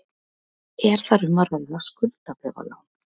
Er þar um að ræða skuldabréfalán